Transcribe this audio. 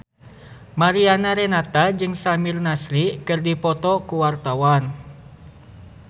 Mariana Renata jeung Samir Nasri keur dipoto ku wartawan